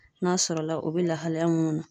N'a sɔrɔla o be lahalaya munnu na